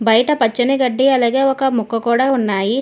బయట పచ్చని గడ్డి అలాగే ఒక మొక్క కూడా ఉన్నాయి.